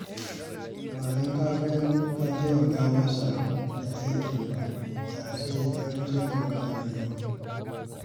Ba don ka taimaka masa da aikin ba, da sai magariba zai gama